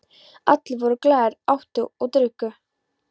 Allir voru glaðir, átu og drukku.